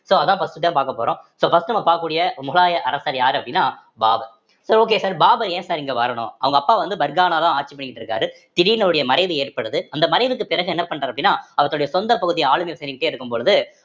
so அதான் first தான் பார்க்கப்போறோம் so first உ நம்ம பார்க்கக்கூடிய முகலாய அரசர் யாரு அப்படின்னா Babur so okay sir Babur ஏன் sir இங்க வரணும் அவுங்க அப்பா வந்து பர்கானாதான் ஆட்சி பண்ணிட்டு இருக்காரு திடீர்ன்னு அவருடைய மறைவு ஏற்படுது அந்த மறைவுக்கு பிறகு என்ன பண்றாரு அப்படின்னா அவருடைய சொந்த பகுதி இருக்கும் பொழுது